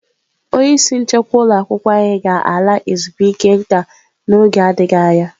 Onye isi nchekwa ụlọ akwụkwọ anyị ga-ala ezumike nka n'oge adịghị anya.